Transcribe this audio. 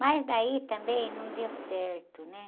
Mas daí também não deu certo, né?